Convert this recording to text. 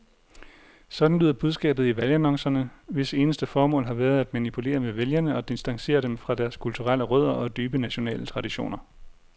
Sådan lyder budskabet i valgannoncerne, hvis eneste formål har været at manipulere med vælgere og distancere dem fra deres kulturelle rødder og dybe nationale traditioner.